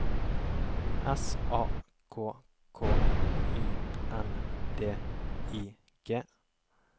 S A K K Y N D I G